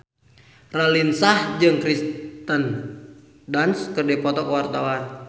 Raline Shah jeung Kirsten Dunst keur dipoto ku wartawan